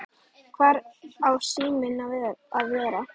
Hvar á síminn að vera?